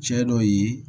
Cɛ dɔ ye